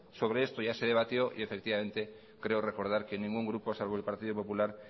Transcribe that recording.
sobre esto ya se debatió y efectivamente creo recordar que ningún grupo salvo el partido popular